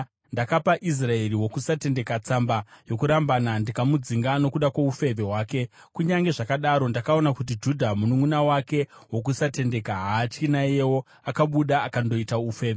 Ndakapa Israeri wokusatendeka tsamba yokurambana ndikamudzinga nokuda kwoufeve hwake. Kunyange zvakadaro ndakaona kuti Judha mununʼuna wake wokusatenda haatyi; naiyewo akabuda akandoita ufeve.